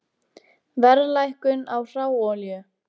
Verðlækkun á hráolíu